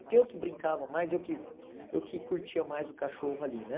Porque eu que brincava mais, eu que eu que curtia mais o cachorro ali, né?